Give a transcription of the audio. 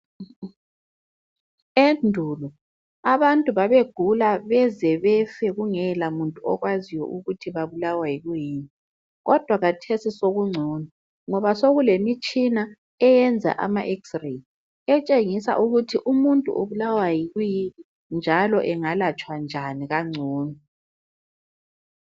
Endulo abantu babegula beze befe kungela muntu okwaziyo ukuthi babulawa yikuyini kodwa khathesi songcono ngoba sokulemitshina eyenza ama x-ray etshengisa ukuthi umuntu ubulawa yikuyini njalo engalatshwa njani kangcono.